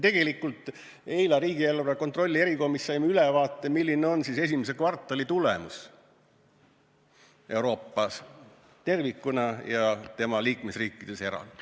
Eile me saime riigieelarve kontrolli erikomisjonis ülevaate, milline on esimese kvartali tulemus Euroopas tervikuna ja tema liikmesriikides eraldi.